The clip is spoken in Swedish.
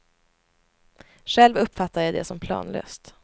Själv uppfattar jag det som planlöst.